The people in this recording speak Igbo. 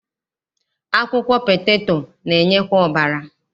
Akwụkwọ peteto na-enyekwa ọbara.